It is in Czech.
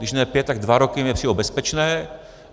Když ne pět, tak dva roky mi přijdou bezpečné.